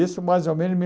Isso mais ou menos